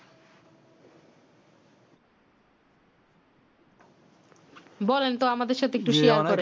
বলেন তো আমাদের সাথে share করেন